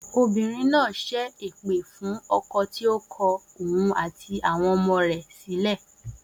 Obìnrin náà ṣẹ́ èpè fún ọkọ̀ tí ó kọ òun àti àwọn ọmọ rẹ̀ sílẹ̀